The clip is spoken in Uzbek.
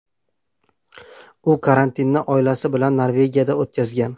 U karantinni oilasi bilan Norvegiyada o‘tkazgan .